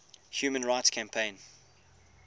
human rights campaign